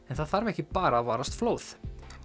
það þarf ekki bara að varast flóð